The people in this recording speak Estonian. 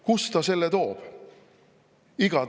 Kust ta selle toob?